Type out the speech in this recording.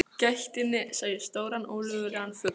gættinni sá ég stóran ólögulegan fugl.